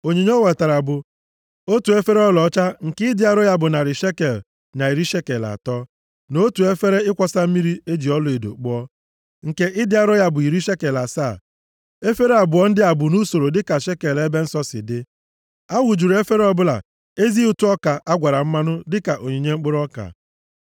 Onyinye o wetara bụ: otu efere ọlaọcha nke ịdị arọ ya bụ narị shekel na iri shekel atọ, na otu efere ịkwọsa mmiri e ji ọlaedo kpụọ, nke ịdị arọ ya bụ iri shekel asaa, efere abụọ ndị a bụ nʼusoro dịka shekel ebe nsọ si dị. A wụjuru efere ọbụla ezi ụtụ ọka a gwara mmanụ dịka onyinye mkpụrụ ọka.